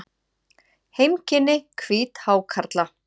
Heimkynni hvíthákarla.